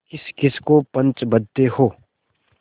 किसकिस को पंच बदते हो